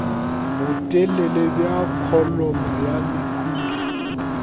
botelele bja kholomo ya mekhuri